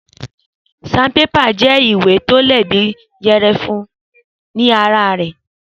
sanpépà jẹ ìwé tọ le bíi ìyẹpẹ gbẹrẹfú ní ara rè